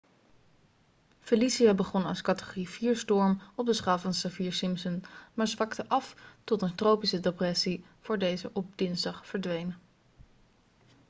felicia begon als categorie 4-storm op de schaal van saffir-simpson maar zwakte af tot een tropische depressie voor deze op dinsdag verdween